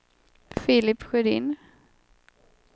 Filip Sjödin